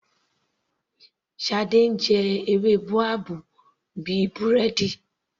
Shade jẹ ewé boabab bíi búrẹ́dì.